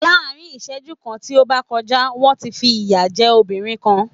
Lá́á̀rin ìsẹ́jú kan tí ó bá kọjá, wọ́n ti fi ìyà jẹ́ obìrin kan.